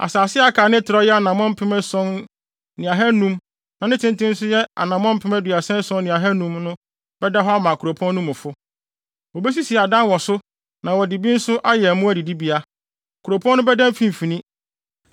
“Asase a aka a ne trɛw yɛ anammɔn mpem ason ne ahannum (7,500) na ne tenten nso yɛ anammɔn mpem aduasa ason ne ahannum (37,500) no bɛda hɔ ama kuropɔn no mufo. Wobesisi adan wɔ so na wɔde bi nso ayɛ mmoa adidibea. Kuropɔn no bɛda ne mfimfini